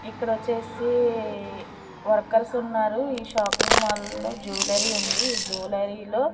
ఇక్కడ వచ్చేసి వర్కర్స్ ఉన్నారు ఈ షాపింగ్ మాల్ లో జ్యువెలరీ ఉంది జువెలరీలో --